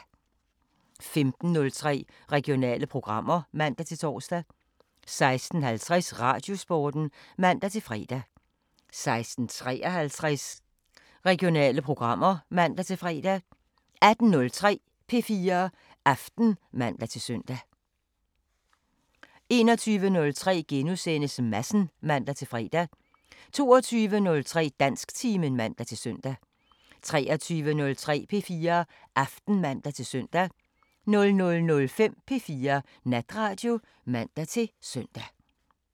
15:03: Regionale programmer (man-tor) 16:50: Radiosporten (man-fre) 16:53: Regionale programmer (man-fre) 18:03: P4 Aften (man-søn) 21:03: Madsen *(man-fre) 22:03: Dansktimen (man-søn) 23:03: P4 Aften (man-søn) 00:05: P4 Natradio (man-søn)